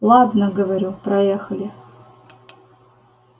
ладно говорю проехали